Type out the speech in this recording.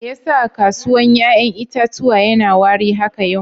Me ya sa kasuwan yayan itatuwan ya na wari haka yau?